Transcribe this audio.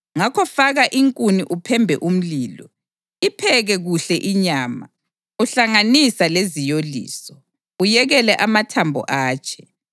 Ngakho faka inkuni uphembe umlilo. Ipheke kuhle inyama, uhlanganisa leziyoliso; uyekele amathambo atshe.